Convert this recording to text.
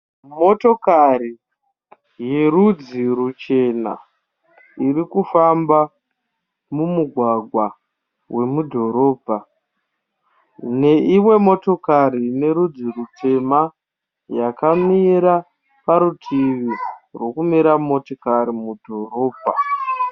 Motokari yerudzi ruchena iri kufamba mumugwagwa wemudhorobha. Neimwe motokari ine rudzi rutema yakamira parutuvi rwekumira motokari mudhorobha.